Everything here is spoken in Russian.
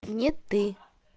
нет ты